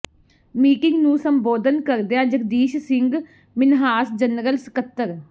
meeting ਨੂੰ ਸੰਬੋਧਨ ਕਰਦਿਆਂ ਜਗਦੀਸ਼ ਸਿੰਘ ਮਿਨਹਾਸ ਜਨਰਲ ਸਕੱਤਰ